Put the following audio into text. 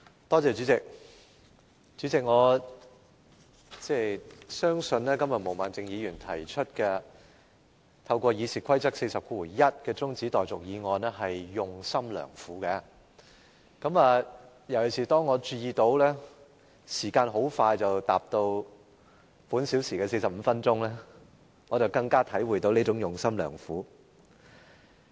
代理主席，我相信，毛孟靜議員今天根據《議事規則》第401條提出現即將辯論中止待續的議案，實在是用心良苦，特別是當我注意到，時間很快便即將達到今個小時的45分鐘，我便更加體會到她的用心良苦。